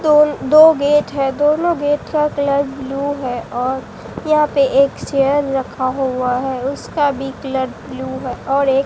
दोन दो गेट है दोनों गेट का कलर ब्लू है और यहां पे एक चेयर रखा हुआ है उसका भी कलर ब्लू है और एक --